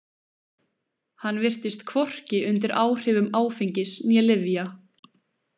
Hann virtist hvorki undir áhrifum áfengis né lyfja.